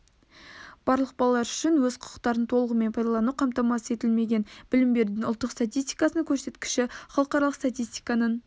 барлық балалар үшін өз құқықтарын толығымен пайдалану қамтамасыз етілмеген білім берудің ұлттық статистикасының көрсеткіштері халықаралық статистиканың